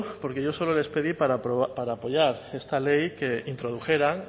porque yo solo les pedí para apoyar esta ley que introdujeran